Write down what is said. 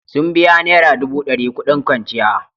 Sun biya naira dubu dari kudin kwanciya.